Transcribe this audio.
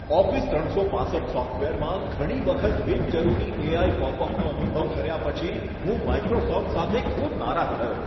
Office ત્રણસો પાંસઠ સોફ્ટવેરમાં ઘણી વખત બિનજરૂરી એઆઈ પોપઅપનો અનુભવ કર્યા પછી હું માઈક્રોસોફ્ટ સાથે ખૂબ નારાજ થયો.